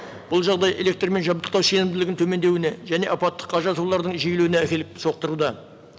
бұл жағдай электрмен жабдықтау сенімділігін төмендеуіне және апаттыққа жиілеуіне әкеліп соқтыруда